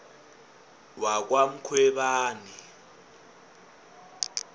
wakwamkhwebani